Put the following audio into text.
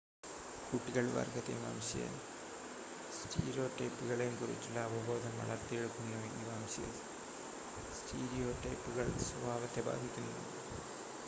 കുട്ടികൾ വർഗ്ഗത്തെയും വംശീയ സ്റ്റീരിയോടൈപ്പുകളെയും കുറിച്ചുള്ള അവബോധം വളർത്തിയെടുക്കുന്നു ഈ വംശീയ സ്റ്റീരിയോടൈപ്പുകൾ സ്വഭാവത്തെ ബാധിക്കുന്നു